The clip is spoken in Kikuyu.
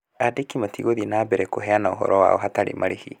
Aandĩki matigũthiĩ na mbere kũheana ũhoro wao hatarĩ marĩhi.